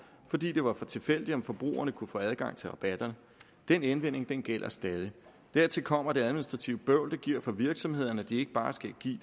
fordi det var for tilfældigt om forbrugerne kunne få adgang til rabatterne den indvending gælder stadig dertil kommer det administrative bøvl det giver for virksomhederne at de ikke bare skal give